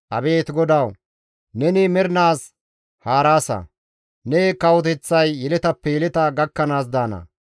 Abeet GODAWU! Neni mernaas haaraasa; ne kawoteththay yeletappe yeleta gakkanaas daana.